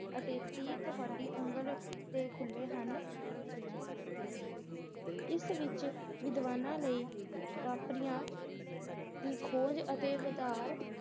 ਅਤੇ ਤੁਹਾਡੀ ਉਂਗਲ ਤੇ ਖੁੱਲੇ ਹਨ ਇਸ ਵਿਚ ਵਿਦਵਾਨਾਂ ਲਈ ਵਾਪਰੀਆਂ ਦੀ ਖੋਜ ਅਤੇ ਵਧਾਰ